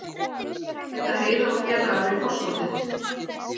Bæta Heiðar og félagar við forskotið